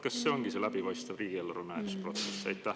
Kas see ongi see läbipaistev riigieelarve menetlemise protsess?